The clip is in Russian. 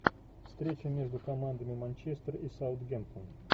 встреча между командами манчестер и саутгемптон